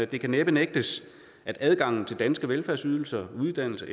det kan næppe nægtes at adgangen til danske velfærdsydelser uddannelse